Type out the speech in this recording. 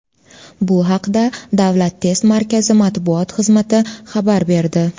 Bu haqda Davlat test markazi matbuot xizmati xabar berdi .